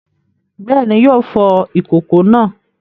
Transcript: Bẹ́ẹ̀ni, yóò fọ ìkòkò náà.